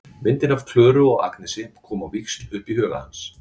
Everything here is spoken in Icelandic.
Myndir af Klöru og Agnesi koma á víxl upp í huga hans.